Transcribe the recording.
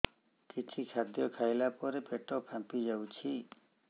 କିଛି ଖାଦ୍ୟ ଖାଇଲା ପରେ ପେଟ ଫାମ୍ପି ଯାଉଛି